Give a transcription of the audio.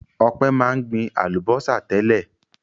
Ọpẹ́ máa ń gbin àlùbọ́sà tẹ́lẹ̀.